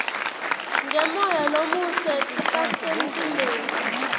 ngemoya lomuhle titasemtimbeni